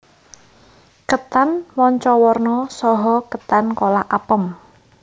Ketan manca warna saha ketan kolak apem